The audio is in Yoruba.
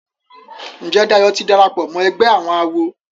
Njé Dayo tí darapọ̀ mọ ègbé àwọn àwo?